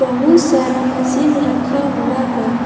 बहुत सारा मशीन रखा हुआ है।